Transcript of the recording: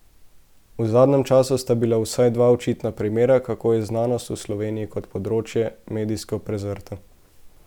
V zadnjem času sta bila vsaj dva očitna primera, kako je znanost v Sloveniji kot področje medijsko prezrta.